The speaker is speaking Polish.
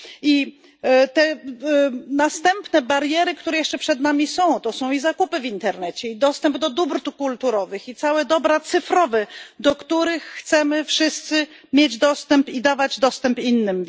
I te następne bariery, które jeszcze przed nami są, to są i zakupy w internecie, i dostęp do dóbr kulturowych, i całe dobra cyfrowe, do których chcemy wszyscy mieć dostęp i dawać dostęp innym.